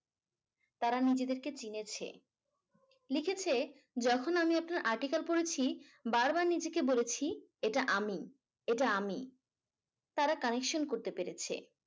তারা নিজেদেরকে চিনেছে লিখেছে যখন আমি ওতো আর্টিকেল পড়েছি বারবার নিজেকে বলেছি এটা আমি, এটা আমি। তারা connection করতে পেরেছে।